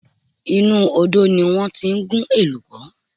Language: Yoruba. Inú Odò ni wọ́n ti ń gún èlùbọ́